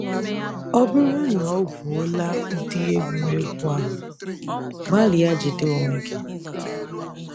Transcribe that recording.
Ọ bụrụ na o gwuola ụdị egwuregwu ahụ, gbalịa jide onwe gị.